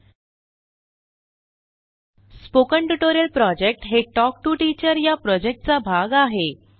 spoken tutorial project हे talk to teacher या प्रॉजेक्टचा भाग आहे